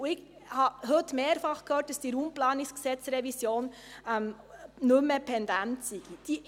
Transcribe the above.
Ich habe heute mehrfach gehört, dass die RPG-Revision nicht mehr pendent sei.